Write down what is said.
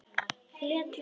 Lét Lenu um sitt.